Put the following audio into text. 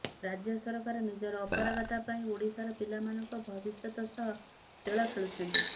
ରାଜ୍ୟ ସରକାର ନିଜର ଅପାରଗତା ପାଇଁ ଓଡିଶାର ପିଲାମାନଙ୍କ ଭବିଷ୍ୟତ ସହ ଖେଳ ଖେଳୁଛନ୍ତି